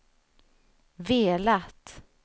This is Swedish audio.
velat